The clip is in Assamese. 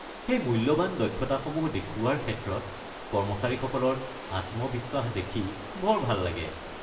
সেই মূল্যৱান দক্ষতাসমূহ দেখুওৱাৰ ক্ষেত্ৰত কৰ্মচাৰীসকলৰ আত্মবিশ্বাস দেখি বৰ ভাল লাগে।